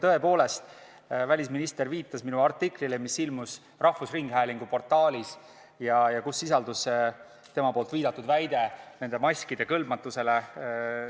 Tõepoolest, välisminister viitas minu artiklile, mis ilmus rahvusringhäälingu portaalis ja kus sisaldus tema viidatud väide nende maskide kõlbmatuse kohta.